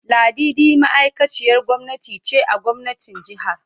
Ladidi ma'aikaciyar gwamnati ce a gwamnatin jihar.